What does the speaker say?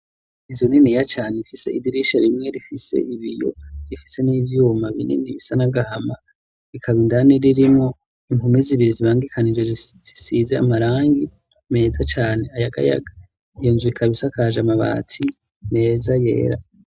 Inzu niniya cane ifise idirisha rimwe rifise ibiyo rifise n'ivyuma binini bisa n'agahama, ikaba indani ririmwo impome zibiri zibangikanije zisisize amarangi meza cane ayagayaga. Iyo nzu ikaba isakaje amabati meza yera.